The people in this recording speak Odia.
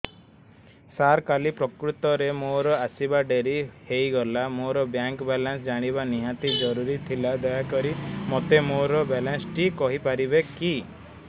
ସାର କାଲି ପ୍ରକୃତରେ ମୋର ଆସିବା ଡେରି ହେଇଗଲା ମୋର ବ୍ୟାଙ୍କ ବାଲାନ୍ସ ଜାଣିବା ନିହାତି ଜରୁରୀ ଥିଲା ଦୟାକରି ମୋତେ ମୋର ବାଲାନ୍ସ ଟି କହିପାରିବେକି